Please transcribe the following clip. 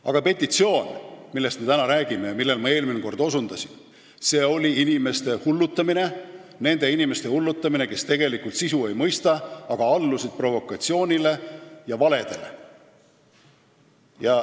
Aga see petitsioon, millest me täna räägime ja millele ma eelmine kord osundasin, oli inimeste hullutamine – nende inimeste hullutamine, kes tegelikult sisu ei mõista, aga allusid provokatsioonile ja valedele.